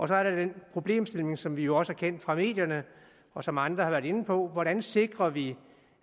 så er der den problemstilling som vi jo også kender fra medierne og som andre har været inde på hvordan sikrer vi